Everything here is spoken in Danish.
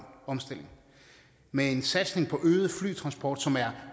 omstilling og med en satsning på øget flytransport som er